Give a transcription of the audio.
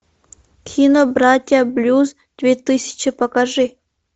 кино братья блюз две тысячи покажи